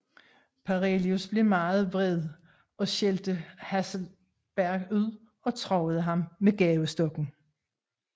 Parelius blev meget vred og skældte Hasselberg ud og truede ham med gabestokken